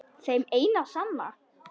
Þeim eina og sanna?